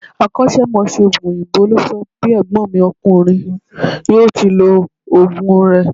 Akósémosé òògùn òyìnbó ló sọ bí ègbón mi ọkùnrin yíò ti lo òògùn rè